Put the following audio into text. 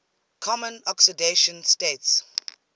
common oxidation states